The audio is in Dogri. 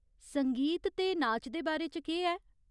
संगीत ते नाच दे बारे च केह् ऐ ?